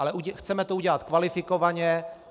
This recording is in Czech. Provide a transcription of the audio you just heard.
Ale chceme to udělat kvalifikovaně.